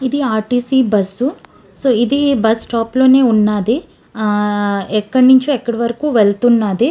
ఇది RTC bus . Uh so ఇది bus stop లోనే ఉన్నది. ఇది ఎక్కడినుంచో ఎక్కడికో వెళ్తున్నది.